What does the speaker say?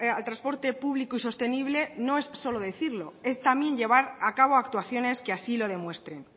al transporte público y sostenible no es solo decirlo es también llevar a cabo actuaciones que así lo demuestren